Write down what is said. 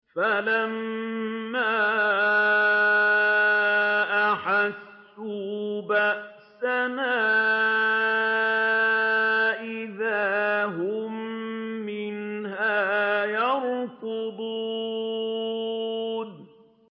فَلَمَّا أَحَسُّوا بَأْسَنَا إِذَا هُم مِّنْهَا يَرْكُضُونَ